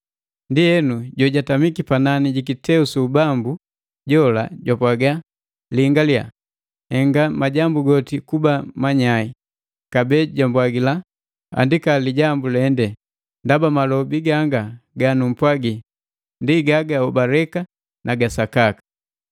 Ndienu jojatamiki panani jikiteu su ubambu jola jwapwaga, “Lingaliya, nhenga majambu goti kuba manyai!” Kabee jambwagila, “Andika lijambu lendee, ndaba malobi gangaa ganugupwagi ndi ga gahobaleka na ga sakaka.”